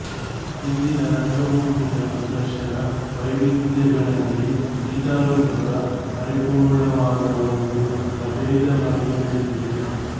ಇಂದಿನ ರಂಗಭೂಮಿಯ ಪ್ರದರ್ಶನ ವೈವಿಧ್ಯಗಳಲ್ಲಿ ಗೀತರೂಪಕ ಪರಿಪೂರ್ಣ ವಾದ ಒಂದು ಪ್ರಭೇದವಾಗಿ ಬೆಳೆದಿದೆ